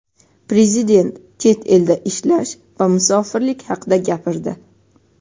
Prezident chet elda ishlash va musofirlik haqida gapirdi.